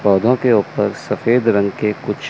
पौधों के ऊपर सफेद रंग के कुछ--